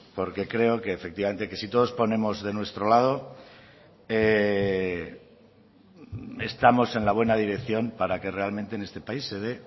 porque creo que efectivamente que si todos ponemos de nuestro lado estamos en la buena dirección para que realmente en este país se dé